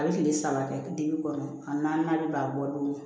A bɛ kile saba kɛ dege kɔnɔ a naani b'a bɔ don min